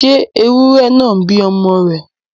ṣé ewúrẹ náà ń bí ọmọ rẹ̀?